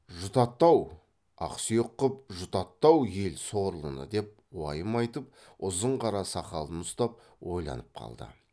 жұтатты ау ақсүйек қып жұтатты ау ел сорлыны деп уайым айтып ұзын қара сақалын ұстап ойланып қалды